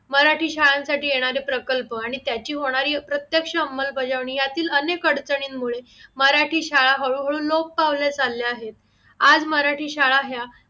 मराठी शाळांसाठी येणारे प्रकल्प आणि त्याची होणारी अप्रत्यक्ष अंबलबजावणी यातील अनेक अडचणींमुळे मराठी शाळा हळू हळू लोप पावले चालल्या आहेत आज मराठी शाळा ह्या